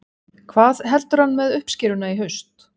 Hvað heldur hann með uppskeruna í haust?